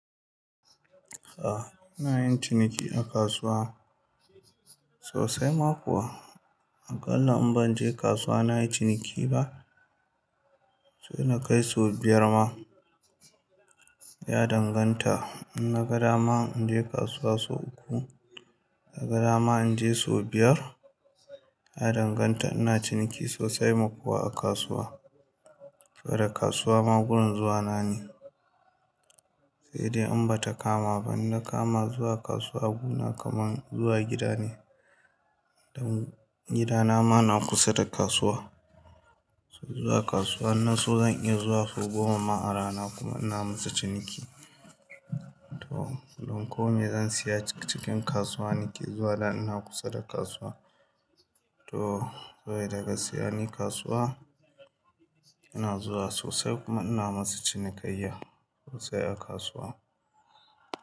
A'a ina yin ciniki a kasuwa sosai ma kuwa. Aƙalla in ban je kasuwa na yi ciniki ba, sai na kai sau biyar ma ya danganta. Inna gadama inji kasuwa sau uku, naga dama inje sau biyar, ya danganta. Ina ciniki sosai ma kuwa a kasuwa. Saboda kasuwa ma gun zuwa na ne. Sai dai in ba ta kama ba, inna kama zuwa kasuwa guna kaman zuwa gida ne. Dan gidana ma na kusa da kasuwa. Zuwa kasuwa inna so zan iya zuwa sau goma a rana kuma ina masu ciniki. To don kome zan saya cikin kasuwa nake zuwa da ina kusa da kasuwa. To sai daga siya ni kasuwa yana zuwa sosai kuma ina masa cinikayya sosai a kasuwa.